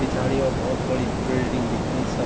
पिछाड़ी यौ भोत बड़ी बिल्डिंग दिखणी स।